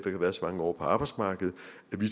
har været så mange år på arbejdsmarkedet